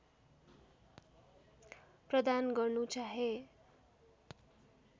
प्रदान गर्नु चाहे